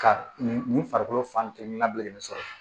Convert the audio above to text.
Ka nin nin farikolo fan kelen labɛn sɔrɔ